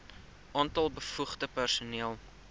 aantal bevoegde personeel